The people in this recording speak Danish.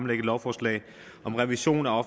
lovforslag om revision af